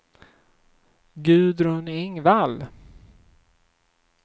Gudrun Engvall